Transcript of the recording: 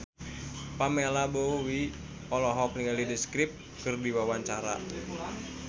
Pamela Bowie olohok ningali The Script keur diwawancara